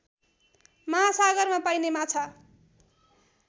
महासागरमा पाइने माछा